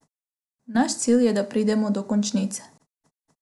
Naš cilj je, da pridemo do končnice.